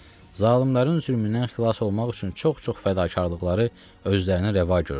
Zalımların zülmündən xilas olmaq üçün çox-çox fədakarlıqları özlərinə rəva gördülər.